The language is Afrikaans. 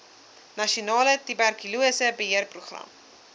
nasionale tuberkulose beheerprogram